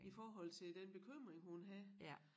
I forhold til den bekymring hun havde